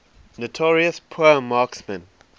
notorious poor marksmen